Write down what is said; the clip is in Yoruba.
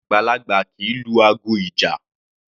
Àgbàlagbà kì í lu aago ìjà.